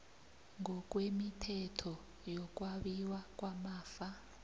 ngokwemithetho yokwabiwa kwamafa